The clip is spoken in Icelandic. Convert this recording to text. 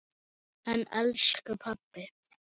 En elsku pabbi!